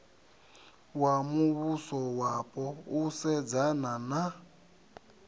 wa muvhusowapo u sedzana na